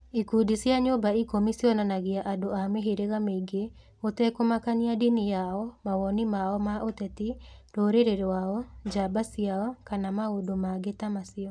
Ikundi cia Nyũmba Ikũmi cionanagia andũ a mĩhĩrĩga mĩingĩ gũtekũmakania ndini yao, mawoni mao ma ũteti, rũrĩrĩ rwao, njamba ciao, kana maũndũ mangĩ ta macio.